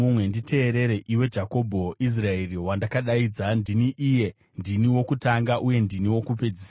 “Nditeerere, iwe Jakobho, Israeri, wandakadaidza; ndini iye: ndini wokutanga uye ndini wokupedzisira.